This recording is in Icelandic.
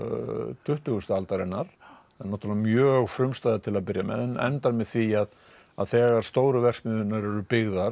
tuttugustu aldarinnar eru náttúrulega mjög frumstæðar til að byrja með en endar með því að þegar stóru verksmiðjurnar eru byggðar